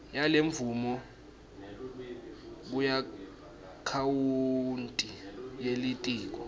yalemvumo kuakhawunti yelitiko